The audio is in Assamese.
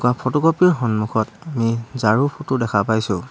ফটোকপি ৰ সন্মুখত ঝাৰু ফটো দেখা পাইছোঁ।